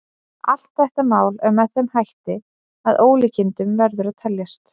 Allt þetta mál er með þeim hætti að með ólíkindum verður að teljast.